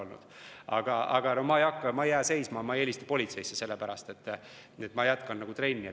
Ja ma ei ole seisma jäänud, ma ei ole hakanud helistama politseisse, vaid olen trenni jätkanud.